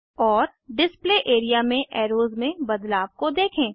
और display area में arrows में बदलाव को देखें